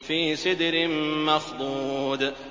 فِي سِدْرٍ مَّخْضُودٍ